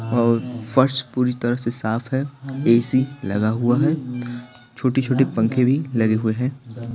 और फर्श पूरी तरह से साफ है ए_सी लगा हुआ है छोटे-छोटे पंखे भी लगे हुए हैं।